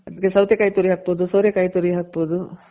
ಅದಕ್ಕೆ ಸೌತೆ ಕಾಯಿ ತುರಿ ಹಾಕ್ಬೋದು. ಸೋರೆ ಕಾಯಿ ತುರಿ ಹಾಕ್ಬೋದು.